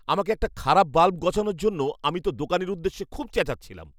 আমাকে একটা খারাপ বাল্ব গছানোর জন্য আমি তো দোকানীর উদ্দেশ্যে খুব চেঁচাচ্ছিলাম।